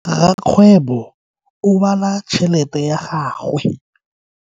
Rakgwebo o bala tšhelete ya gagwe.